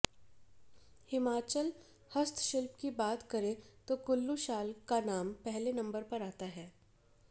हिमाचल हस्तशिल्प की बात करें तो कुल्लू शाल का नाम पहले नंबर पर आता है